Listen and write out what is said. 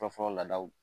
Fɔlɔfɔlɔ la